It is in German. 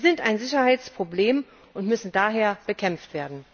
Sie sind ein Sicherheitsproblem und müssen daher bekämpft werden.